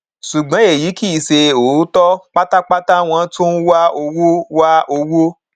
ṣùgbọn èyí kì í ṣe òótọ pátápátá wọn tún ń wá owó wá owó